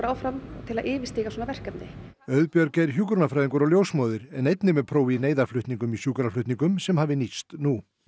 áfram til að yfirstíga svona verkefni Auðbjörg er hjúkrunarfæðingur og ljósmóðir en einnig með próf í í sjúkraflutningum sem hafi nýst nú